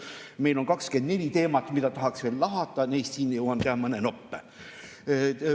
Meil on 24 teemat, mida tahaks lahata, teen neist siin mõne noppe.